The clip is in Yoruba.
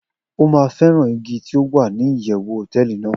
o ma feran igi ti o wa ni iyewu hoteeli nàá